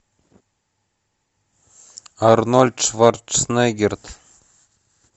арнольд шварценеггер